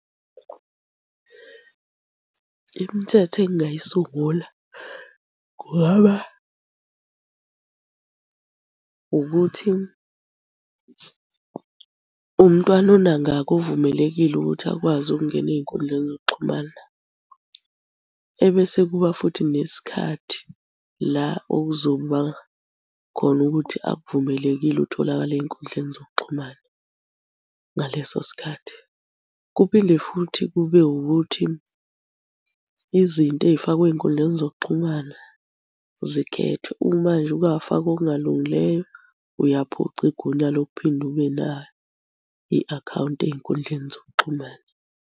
Imithetho engingayisungula kungaba ukuthi umntwana unangaki ovumelekile ukuthi akwazi ukungena ey'nkundleni zokuxhumana. Ebese kuba futhi nesikhathi la okuzoba khona ukuthi akuvumelekile utholakale ey'nkundleni zokuxhumana ngaleso sikhathi. Kuphinde futhi kube wukuthi izinto ey'fakwa ey'nkundleni zokuxhumana zikhethwe. Uma nje ake wafaka okungalungileyo, uyaphucwa igunya lokuphinde ube nayo i-akhawunti ey'nkundleni zokuxhumana.